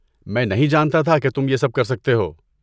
میں نہیں جانتا تھا کہ تم یہ سب کر سکتے ہو۔